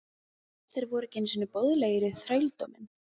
Þeir voru ekki einu sinni boðlegir í þrældóminn!